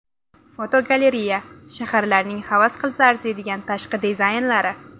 Fotogalereya: Shaharlarning havas qilsa arziydigan tashqi dizaynlari.